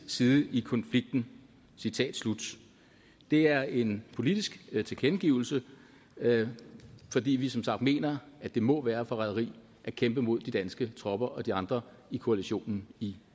side i konflikten citat slut det er en politisk tilkendegivelse fordi vi som sagt mener at det må være forræderi at kæmpe mod de danske tropper og de andre i koalitionen i